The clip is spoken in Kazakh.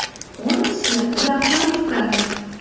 оныншы жақсылап ұйықтаңыз